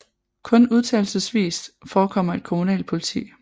Kun undtagelsesvis forekommer et kommunalt politi